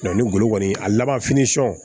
ni golo kɔni a laban